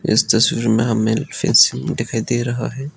इस तस्वीर में हमें फेंसिंग दिखाई दे रहा है।